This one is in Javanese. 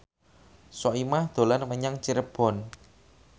Soimah dolan menyang Cirebon